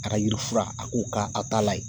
A ka yirifura, a k'o k'a taa la ye.